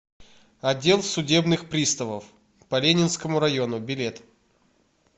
отдел судебных приставов по ленинскому району билет